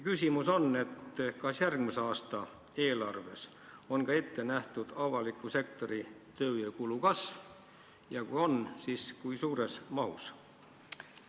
Kas ka järgmise aasta eelarves on ette nähtud avaliku sektori tööjõukulu kasv ja kui on, siis kui suures mahus?